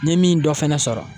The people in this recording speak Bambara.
N ye min dɔ fɛnɛ sɔrɔ